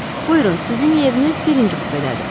Buyurun, sizin yeriniz birinci kupedədir.